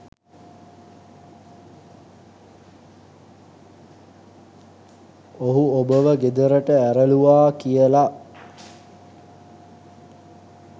ඔහු ඔබව ගෙදරට ඇරලූවා කියලා